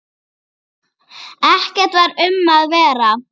Ekkert var um að vera.